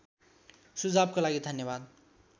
सुझावको लागि धन्यवाद